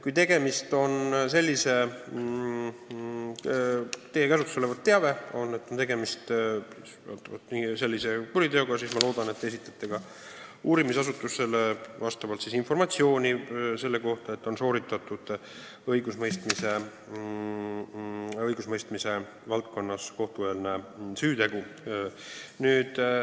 Kui teie käsutuses on teave, et tegemist on sellise kuriteoga, siis loodetavasti te informeerite ka uurimisasutusi, et õigusemõistmise valdkonnas on toime pandud kohtueelne süütegu.